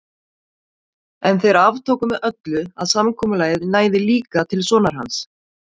En þeir aftóku með öllu að samkomulagið næði líka til sonar hans.